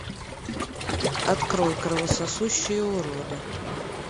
открой кровососущие уроды